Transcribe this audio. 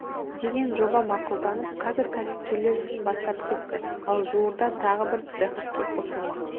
деген жоба мақұлданып қазір кәсіпкерлер ісін бастап кетті ал жуырда тағы бір цех іске қосылмақ